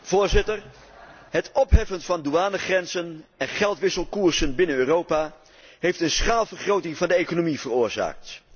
Voorzitter, het opheffen van douanegrenzen en geldwisselkoersen binnen Europa heeft een schaalvergroting van de economie veroorzaakt.